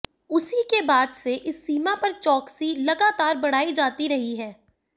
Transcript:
उसी के बाद से इस सीमा पर चौकसी लगातार बढ़ाई जाती रही है